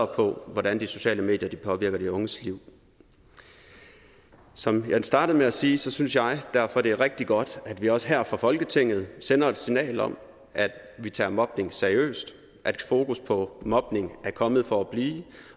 på hvordan de sociale medier påvirker de unges liv som jeg startede med at sige synes jeg derfor det er rigtig godt at vi også her fra folketinget sender et signal om at vi tager mobning seriøst at fokus på mobning er kommet for at blive